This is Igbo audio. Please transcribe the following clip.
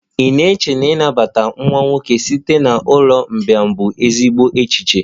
Ị na-eche na ịnabata nwa nwoke site na ụlọ mgbei bụ ezigbo echiche?